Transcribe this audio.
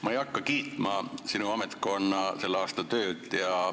Ma ei hakka kiitma sinu ametkonna selle aasta tööd.